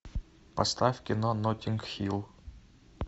поставь кино ноттинг хилл